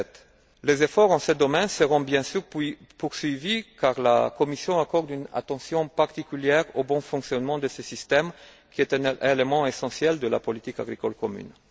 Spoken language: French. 2007. Les efforts dans ce domaine seront bien sûr poursuivis car la Commission accorde une attention particulière au bon fonctionnement de ce système, lequel est un élément essentiel de la politique agricole commune.